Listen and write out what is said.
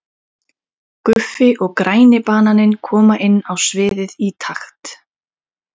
Guffi og Græni bananinn koma inn á sviðið í takt.